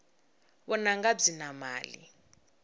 vununga byi na mali